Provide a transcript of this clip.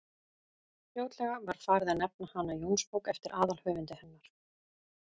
fljótlega var farið að nefna hana jónsbók eftir aðalhöfundi hennar